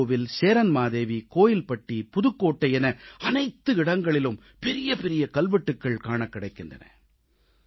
மன்னார்கோவில் சேரன்மாதேவி கோவில்பட்டி புதுக்கோட்டை என அனைத்து இடங்களிலும் பெரிய பெரிய கல்வெட்டுகள் காணக் கிடைக்கின்றன